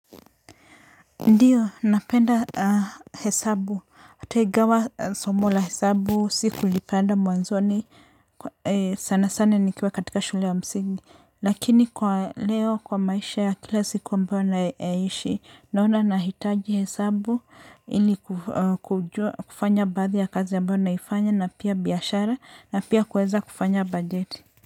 Ndio, napenda hesabu. Hata ingawa somo la hesabu sikulipenda mwanzoni sana sana nikiwa katika shule ya msingi. Lakini kwa leo kwa maisha ya kila siku ambayo nayaishi. Naona nahitaji hesabu. Ili kufanya baadhi ya kazi ambayo naifanya na pia biashara na pia kuweza kufanya bajeti.